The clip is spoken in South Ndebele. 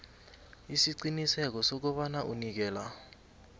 isiqiniseko sokobana unikela